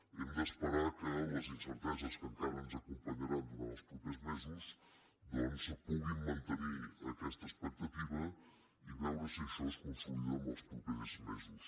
hem d’esperar que les incerteses que encara ens acompanyaran durant els propers mesos doncs puguin mantenir aquesta expectativa i veure si això es consolida en els propers mesos